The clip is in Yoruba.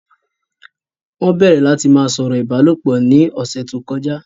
Wọ́n bẹ̀rẹ̀ láti ma sọ̀rọ̀ ìbálòpọ̀ ni ọ̀sẹ̀ tó kọjá